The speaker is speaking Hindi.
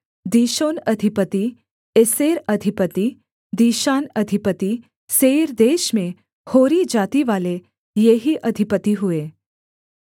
दीशोन अधिपति एसेर अधिपति दीशान अधिपति सेईर देश में होरी जातिवाले ये ही अधिपति हुए